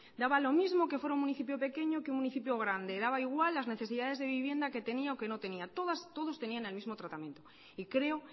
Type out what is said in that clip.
daba lo mismo que fuera un municipio pequeño que un municipio grande daba igual las necesidades de vivienda que tenía o que no tenía todos tenían el mismo tratamiento y creo